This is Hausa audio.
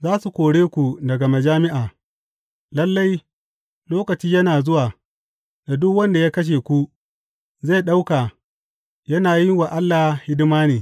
Za su kore ku daga majami’a; lalle, lokaci yana zuwa da duk wanda ya kashe ku, zai ɗauka yana yin wa Allah hidima ne.